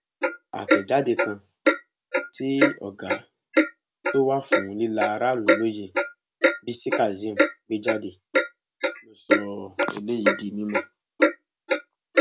àtẹjáde kan tí ọgá tó wà fún líla aráàlú lóye bisi kazeem gbé jáde ló sọ eléyìí di mímọ